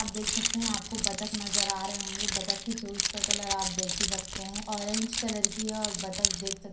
आप देख सकते हैं आपको बत्तख नजर आ रहे होंगे। बत्तख की चोंच का कलर आप देख ही सकते हैं। ऑरेंज कलर की है और बत्तख देख सक --